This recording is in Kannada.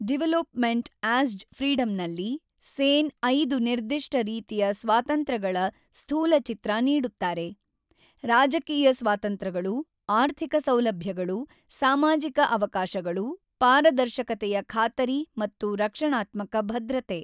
ಡಿವಲೊಪಮೆಂಟ್‌ ಆಸ್ಜ್‌ ಫ್ರೀಡಂನಲ್ಲಿ ಸೇನ್ ಐದು ನಿರ್ದಿಷ್ಟ ರೀತಿಯ ಸ್ವಾತಂತ್ರ್ಯಗಳ ಸ್ಥೂಲಚಿತ್ರ ನೀಡುತ್ತಾರೆ: ರಾಜಕೀಯ ಸ್ವಾತಂತ್ರ್ಯಗಳು, ಆರ್ಥಿಕ ಸೌಲಭ್ಯಗಳು, ಸಾಮಾಜಿಕ ಅವಕಾಶಗಳು, ಪಾರದರ್ಶಕತೆಯ ಖಾತರಿ ಮತ್ತು ರಕ್ಷಣಾತ್ಮಕ ಭದ್ರತೆ.